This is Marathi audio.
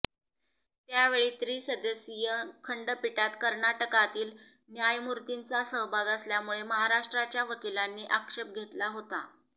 त्यावेळी त्रिसदस्यीय खंडपीठात कर्नाटकातील न्यायमूर्तीचा सहभाग असल्यामुळे महाराष्ट्राच्या वकिलांनी आक्षेप घेतला होता